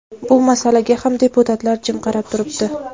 Bu masalaga ham deputatlar jim qarab turibdi.